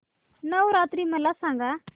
नवरात्री मला सांगा